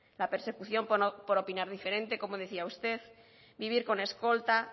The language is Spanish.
la persecución por opinar diferente como decía usted vivir con escolta